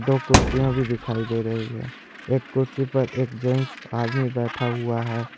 दो कुर्सियां भी दिखाई दे रही है एक कुर्सी पर एक जेंट्स आदमी बैठा हुआ है।